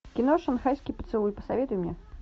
кино шанхайский поцелуй посоветуй мне